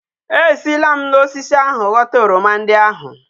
E si lam na osisi ahu ghota oroma ndi ahu